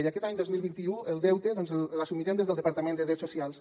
i aquest any dos mil vint u el deute l’assumirem des del departament de drets socials